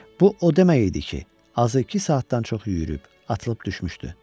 Bu o demək idi ki, azı iki saatdan çox yüyürüb atılıb düşmüşdü.